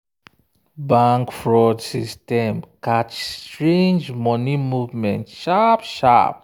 bank fraud system catch strange money movement sharp sharp.